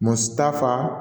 Mɔgɔ si t'a faa